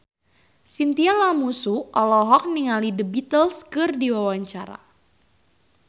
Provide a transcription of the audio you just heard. Chintya Lamusu olohok ningali The Beatles keur diwawancara